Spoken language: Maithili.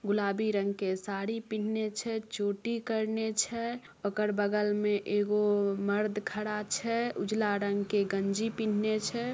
गुलाबी रंग के साड़ी पीन्ने छै चोटी करने छैओकर बगल में एगो मर्द खड़ा छै उजला रंग के गंजी पिन्ने छै।